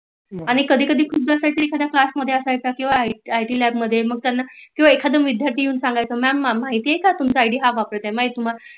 आणि कधी कधी खूप जन साटी क्लास मधे हिकड असायचं मग किव्हा आयटी ल्याब मधे तेव्हा एकदम विद्यार्थी येऊन सांगायचं मॅम माहीत आहे का तुमच आईडी हां वापरत आहे